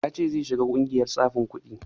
Ya ce zai shiga ƙungiyar tsafin kuɗi